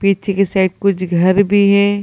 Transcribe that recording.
पीछे के साइड कुछ घर भी है।